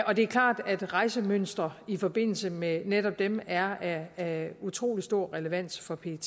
og det er klart at rejsemønstre i forbindelse med netop dem er af utrolig stor relevans for pet